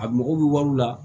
A mago bɛ wari la